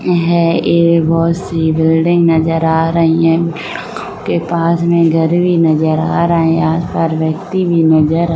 है एक बहोत सी बिल्डिंग नजर आ रही हैं। के पास में घर भी नजर आ रहा हैं। आस-पास व्यक्ति भी नजर --